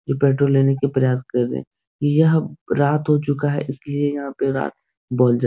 ये पेट्रोल लेने की प्रयास करें यह रात हो चुका है इसलिए यहाँ पर रात बोल जा --